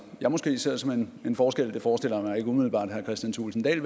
jeg måske ser som en forskel det forestiller jeg mig ikke umiddelbart herre kristian thulesen dahl